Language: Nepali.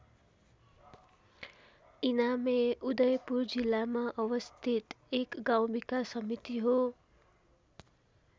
इनामे उदयपुर जिल्लामा अवस्थित एक गाउँ विकास समिति हो।